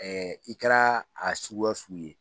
i kɛra a suguya sugu ye